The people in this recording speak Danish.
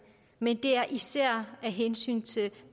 men især af hensyn til